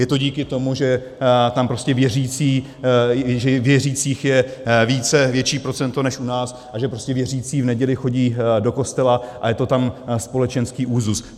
Je to díky tomu, že tam prostě věřících je více, větší procento než u nás, a že prostě věřící v neděli chodí do kostela, a je to tam společenský úzus.